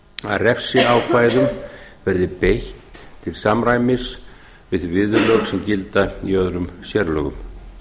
að refsiákvæðum verði beitt til samræmis við viðurlög sem gilda í öðrum sérlögum